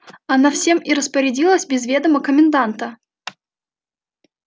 она всем и распорядилась без ведома коменданта